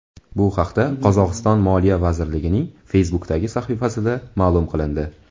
Bu haqda Qozog‘iston Moliya vazirligining Facebook’dagi sahifasida ma’lum qilindi .